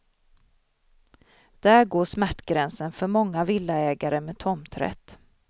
Där går smärtgränsen för många villaägare med tomträtt.